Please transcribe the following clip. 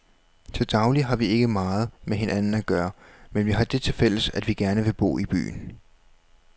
Til daglig har vi ikke meget med hinanden at gøre, men vi har det tilfælles, at vi gerne vil bo i byen.